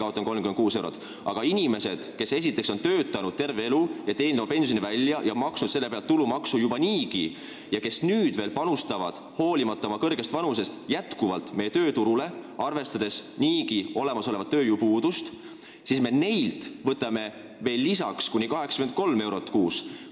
Aga neilt inimestelt, kes on terve elu töötanud, oma pensioni välja teeninud, selle pealt juba niigi tulumaksu maksnud ning kes nüüd hoolimata oma kõrgest vanusest veel panustavad meie tööturule, kus valitseb tööjõupuudus, me võtame kuni 83 eurot kuus.